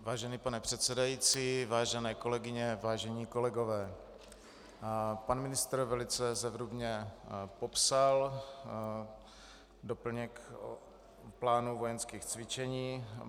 Vážený pane předsedající, vážené kolegyně, vážení kolegové, pan ministr velice zevrubně popsal doplněk plánu vojenských cvičení.